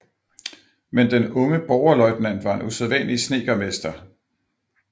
Men den unge borgerløjtnant var en usædvanlig snedkermester